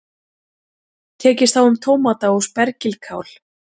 Tekist á um tómata og spergilkál